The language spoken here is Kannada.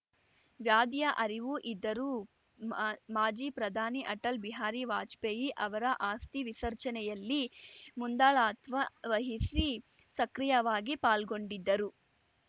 ವ್ಯಾಧಿಯ ಅರಿವು ಇದ್ದರೂ ಮಾ ಮಾಜಿ ಪ್ರಧಾನಿ ಅಟಲ್‌ ಬಿಹಾರಿ ವಾಜ್ ಪೇಯಿ ಅವರ ಅಸ್ಥಿ ವಿಸರ್ಜನೆಯಲ್ಲಿ ಮುಂದಾಳತ್ವ ವಹಿಸಿ ಸಕ್ರಿಯವಾಗಿ ಪಾಲ್ಗೊಂಡಿದ್ದರು